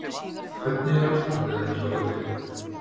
Hvernig er ástandið annars á vellinum?